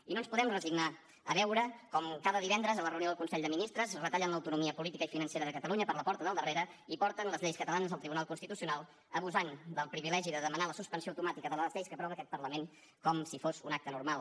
i no ens podem resignar a veure com cada divendres a la reunió del consell de ministres retallen l’autonomia política i financera de catalunya per la porta del darrere i porten les lleis catalanes al tribunal constitucional abusant del privilegi de demanar la suspensió automàtica de les lleis que aprova aquest parlament com si fos un acte normal